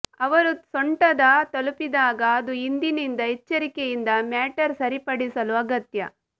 ಅವರು ಸೊಂಟದ ತಲುಪಿದಾಗ ಅದು ಹಿಂದಿನಿಂದ ಎಚ್ಚರಿಕೆಯಿಂದ ಮ್ಯಾಟರ್ ಸರಿಪಡಿಸಲು ಅಗತ್ಯ